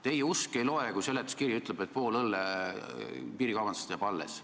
Teie usk ei loe, kui seletuskiri ütleb, et pool õlle piirikaubandusest jääb alles.